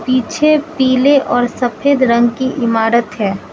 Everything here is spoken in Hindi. पीछे पीले और सफेद रंग की इमारत है।